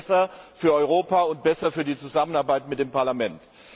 Das ist besser für Europa und besser für die Zusammenarbeit mit dem Parlament.